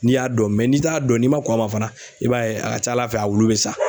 N'i y'a dɔn n'i t'a dɔn n'i ma kɔn a ma fana i b'a ye a ka ca Ala fɛ a wulu bɛ sa.